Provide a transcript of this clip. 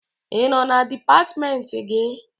Ị nọ na dipatịmentị gị?